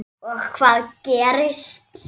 Þórir: Og hvað gerist?